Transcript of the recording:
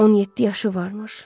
17 yaşı varmış.